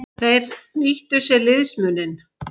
Þeir nýttu sér liðsmuninn.